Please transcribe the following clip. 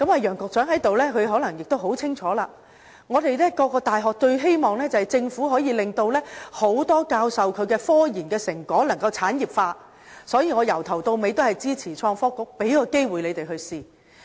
楊局長在席，他可能很清楚，各間大學最希望政府可以令多位教授的科研成果產業化，因此，我由始至終也支持成立創新及科技局，給機會讓他們嘗試。